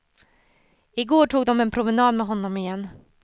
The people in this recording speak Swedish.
I går tog de en promenad med honom igen.